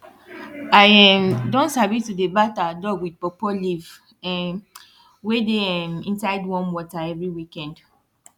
i um don sabi to dey bath our dog with pawpaw leave um wey dey um inside warm water every weekend